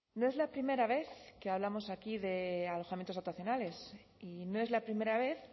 no es la primera vez que hablamos aquí de alojamientos dotacionales y no es la primera vez